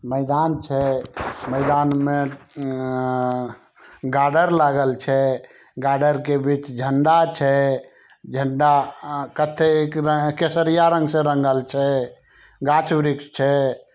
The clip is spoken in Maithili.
मैदान छै मैदान मे अ गाडर लागल छै गाडर के बीच झंडा छै। झंडा अ कते के-केसरिया रंग से रंगल छै गाछ वृक्ष छै।